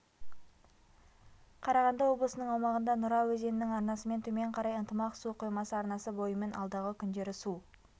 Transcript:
қарағанды облысының аумағында нұра өзенінің арнасымен төмен қарай ынтымақ су қоймасы арнасы бойымен алдағы күндері су